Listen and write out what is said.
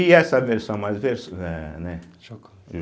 E essa versão mais ver, eh, né. Jocosa.